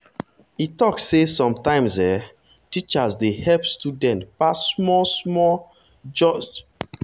e talk say sometimes um teachers dey help students pass small-small just um to make the school the school record look better.